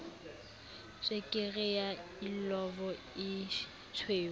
tswekere ya illovo e tshweu